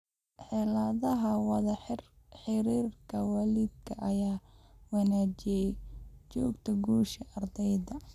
Xeeladaha wada xiriirka waalidka ayaa wanaajiya xogta guusha ardayga.